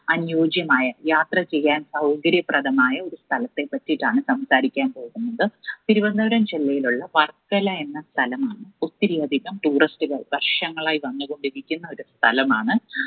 അന്യോജ്യമായ യാത്ര ചെയ്യാൻ സൗകര്യപ്രദമായ ഒരു സ്ഥലത്തെ പറ്റിയിട്ടാണ് സംസാരിക്കാൻ പോകുന്നത്. തിരുവനന്തപുരം ജില്ലയിലുള്ള വർക്കല എന്ന സ്ഥലമാണ് ഒത്തിരിയധികം tourist ഉകൾ വർഷങ്ങളായി വന്ന് കൊണ്ടിരിക്കുന്ന ഒരു സ്ഥലമാണ്